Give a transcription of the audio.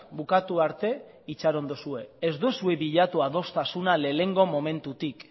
bukatu arte itxaron duzue ez duzue bilatu adostasuna lehenengo momentutik